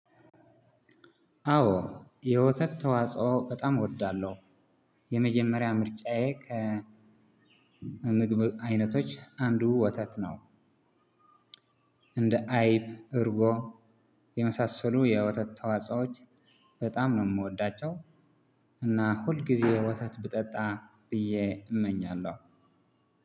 አዎ የወተት ተዋጽኦ በጣም እወዳለሁ የመጀመሪያ ምርጫዬ ከምግብ አይነቶች አንዱ ወተት ነው። እንደ አይብ እርጎ የመሳሰሉ የወተት ተዋጾዎች በጣም ነው የምወዳቸው እና ሁልጊዜ ወተት ብጠጣ ብዬ እመኛለሁ።